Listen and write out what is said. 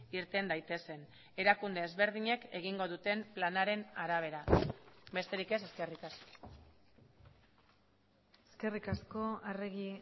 irten daitezen erakunde ezberdinek egingo duten planaren arabera besterik ez eskerrik asko eskerrik asko arregi